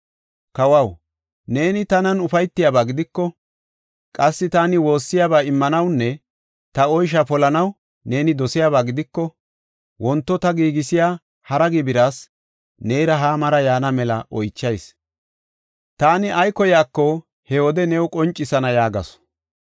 “Kawaw, neeni tanan ufaytiyaba gidiko, qassi taani woossiyaba immanawunne ta oysha polanaw neeni dosiyaba gidiko, wonto ta giigisiya hara gibiras neera Haamara yaana mela oychayis. Taani ay koyaako he wode new qoncisana” yaagasu.